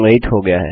यह संग्रहीत हो गया है